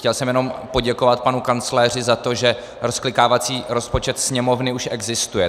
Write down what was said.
Chtěl jsem jenom poděkovat panu kancléři za to, že rozklikávací rozpočet Sněmovny už existuje.